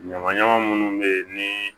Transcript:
Ɲamaɲama minnu bɛ ye ni